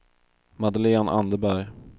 Madeleine Anderberg